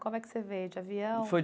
Como é que você veio, de avião?